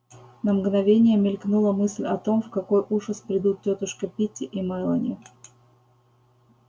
на мгновение мелькнула мысль о том в какой ужас придут тётушка питти и мелани